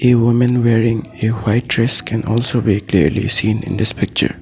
A women wearing a white dress can also be clearly seen in this picture.